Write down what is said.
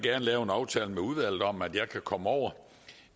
lave en aftale med udvalget om at jeg kan komme over